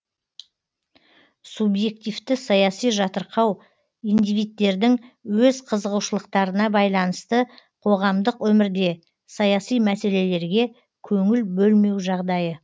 субъективті саяси жатырқау индивидтердің өз қызығушылықтарына байланысты қоғамдық өмірде саяси мәселелерге көңіл бөлмеу жағдайы